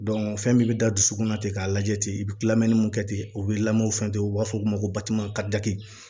fɛn min bɛ da dusukunna ten k'a lajɛ ten i bɛ kilanni mun kɛ ten u bɛ lamɔ fɛn di u b'a fɔ o ma ko